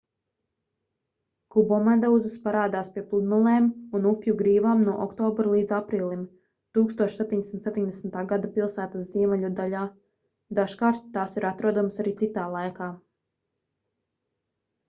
kubomedūzas parādās pie pludmalēm un upju grīvām no oktobra līdz aprīlim 1770. gada pilsētas ziemeļu daļā dažkārt tās ir atrodamas arī citā laikā